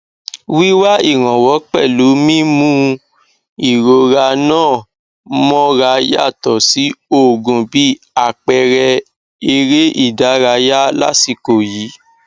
wíwá ìrànwọ pẹlú mímú ìrora ńà mọra yàtọ sí òògùn bí àpẹẹrẹ eré ìdárayá lásìkò yìí